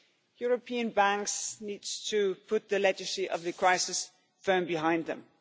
European banks need to put the legacy of the crisis firmly behind them.